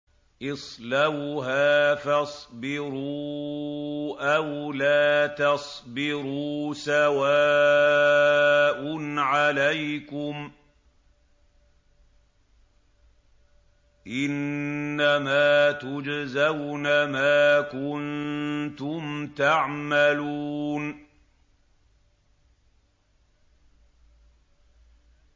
اصْلَوْهَا فَاصْبِرُوا أَوْ لَا تَصْبِرُوا سَوَاءٌ عَلَيْكُمْ ۖ إِنَّمَا تُجْزَوْنَ مَا كُنتُمْ تَعْمَلُونَ